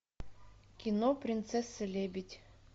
кино принцесса лебедь